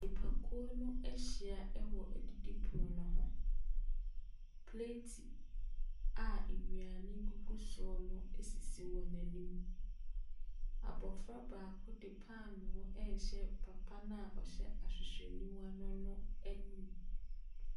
Nnipakuo no ahyia ɛwɔ adidipono ne ho, plate a nnuane gugu so no asisi wɔn anim. Abɔfra baako ɛde paano ɛrehyɛ papa no a ɔhyɛ ahwehwɛniwa no ano ɛmu.